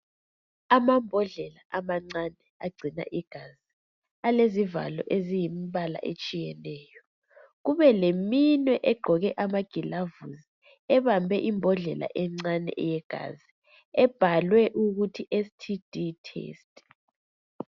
Amambodlela amancane agcina igazi alezivalo ezilembala etshiyeneyo kube leminye egqoke amagulavisi ebambe imbodlela encane eyegazi ebhalwe STD test